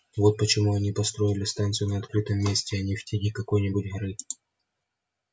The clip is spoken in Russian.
вот почему они построили станцию на открытом месте а не в тени какой-нибудь горы